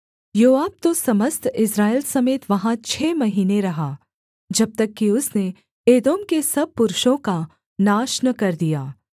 योआब तो समस्त इस्राएल समेत वहाँ छः महीने रहा जब तक कि उसने एदोम के सब पुरुषों का नाश न कर दिया